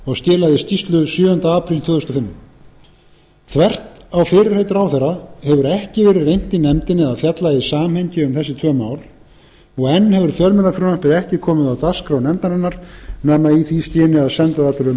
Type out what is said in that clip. og skilaði skýrslu sjöunda apríl tvö þúsund og fimm þvert á fyrirheit ráðherra hefur ekki verið reynt í nefndinni að fjalla í samhengi um þessi tvö mál og enn hefur fjölmiðlafrumvarpið ekki komið á dagskrá nefndarinnar nema í því skyni að senda það